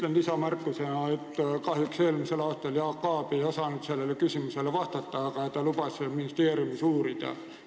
Ütlen lisamärkusena, et eelmisel aastal Jaak Aab ei osanud sellele küsimusele vastata, aga ta lubas ministeeriumis uurida.